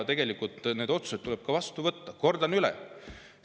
Tegelikult tuleb need otsused vastu võtta Kordan üle.